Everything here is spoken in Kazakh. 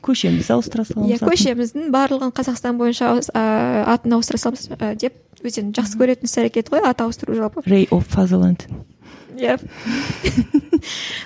көшемізді ауыстыра саламыз атын иә көшеміздің барлығын қазақстан бойынша ыыы атын ауыстара саламыз ы деп өздерінің жақсы көретін іс әрекеті ғой ат ауыстыру жалпы